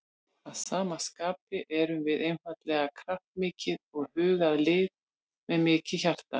Að sama skapi erum við einstaklega kraftmikið og hugað lið með mikið hjarta.